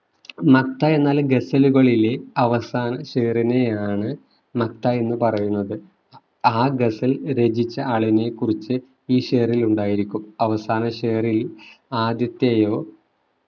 മക്ത എന്നാല് ഗസലുകളിലെ അവസാന ഷേറിനെയാണ് മക്ത എന്നു പറയുന്നത് ആ ഗസൽ രചിച്ച ആളിനെക്കുറിച് ഈ ഷേറിൽ ഉണ്ടായിരിക്കും അവസാന ഷേറിൽ ആദ്യത്തെയോ